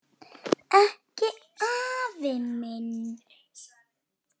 Ekki afi minn.